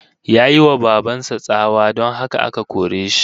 Yayi wa baban sa tsawa, don haka aka kore shi